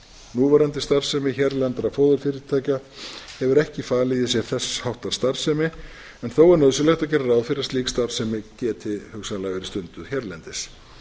núverandi starfsemi hérlendra fóðurfyrirtækja hefur ekki falið í sér þess háttar starfsemi en þó er nauðsynlegt að gera ráð fyrir að slík starfsemi geti hugsanlega verið stunduð hérlendis